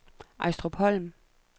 Ejstrupholm